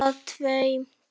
Það er tvennt.